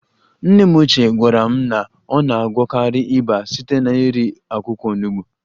Nne m ochie gwara m na ọ na-agwọkarị ịba site n'iri akwụkwọ Onugbo